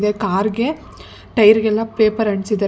Car ಗೆ tyre ಗ ಎಲ್ಲಾ ಪೇಪರ್ ಅಂಟಿಸಿದಾರೆ.